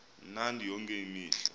mnandi yonke imihla